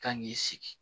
Kan k'i sigi